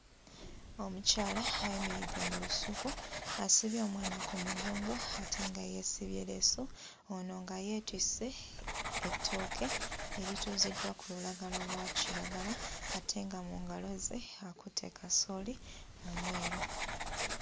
Omukyala ayimiridde mu lusuku asibye omwana ku mugongo ate nga yeesibye leesu ono nga yeetisse ettooke erituuziddwa ku lulagala lwa kiragala ate nga mu ngalo ze akutte kasooli omweru.